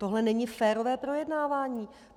Tohle není férové projednávání.